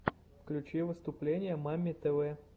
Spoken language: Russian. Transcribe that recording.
включи выступления мамми тв